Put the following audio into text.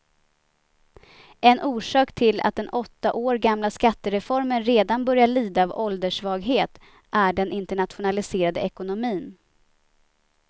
En orsak till att den åtta år gamla skattereformen redan börjar lida av ålderssvaghet är den internationaliserade ekonomin.